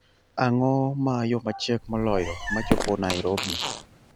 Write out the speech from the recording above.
Ang'o ma yo machiek moloyo ma chopo Nairobi